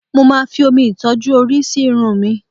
Mo máa fi omi ìtọ́jú orí sí irun mi